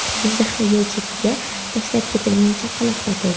Jizzaxda yo‘l chetiga tashlab ketilgan chaqaloq topildi.